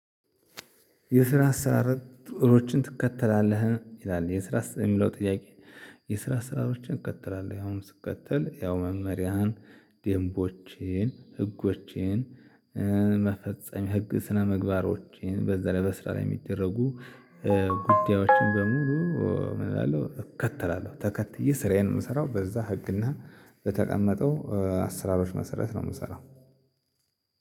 የስራ አሰራሮችን ትከተላለህ ይላል የስራ የሚለው ጥያቄ? የስራ ስራዎችን እቀጥላለሁ ያውም ስቀጥል ያው መመሪያህን ደምቦችህን ህጎችህን። መፈጸም ህግ ስነምግባሮችን በዛለይ በስራ ላይ የሚደረጉ ጉዳዮችን በሙሉ ምንእላለው እከተላለሁ ተከትዬ ስራዬን የምሰራው በዛ ህግና በተቀመጠው አስራሮች መሰረት ነው ምሰራው።